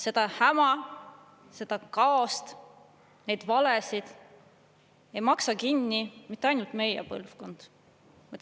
Seda häma, seda kaost, neid valesid ei maksa kinni mitte ainult meie põlvkond.